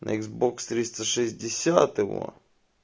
на иксбокс триста шестьдесят его